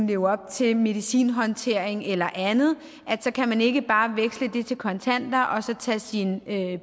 leve op til medicinhåndtering eller andet så kan man ikke bare veksle det til kontanter og så tage sin